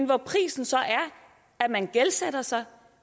prisen så at man gældsætter sig